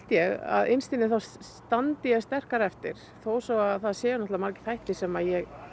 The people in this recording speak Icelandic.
ég að innst inni þá standi ég sterkari eftir þó svo að það séu náttúrulega margir þættir sem ég